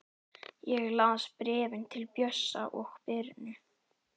Ég las bréfin til Bjössa og Birnu.